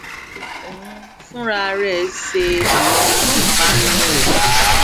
ó n fúnra rè ṣe àwọn ìpanu rẹ